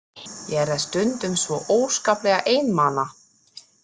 Ég er stundum svo óskaplega einmana.